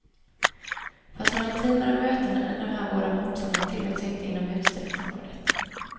Fast några intimare möten än de här båda mopsarnas tillåts inte inom utställningsområdet.